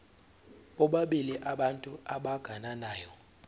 bobabili abantu abagananayo